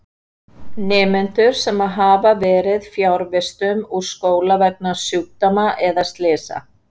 Nemendur sem hafa verið fjarvistum úr skóla vegna sjúkdóma eða slysa.